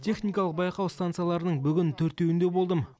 техникалық байқау станцияларының бүгін төртеуінде болдым